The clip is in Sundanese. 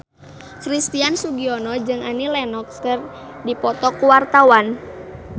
Christian Sugiono jeung Annie Lenox keur dipoto ku wartawan